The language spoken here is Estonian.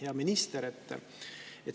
Hea minister!